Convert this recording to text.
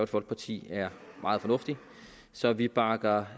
folkeparti er meget fornuftig så vi bakker